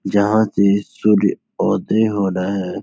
जहाँ से सूर्य ओदय हो रहा है।